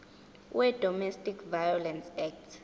wedomestic violence act